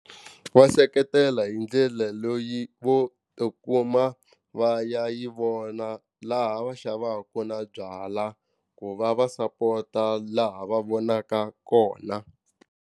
Va seketela hi ndlela loyi vo tikuma va ya yi vona laha va xavaka na byala ku va va sapota laha va vonaka kona.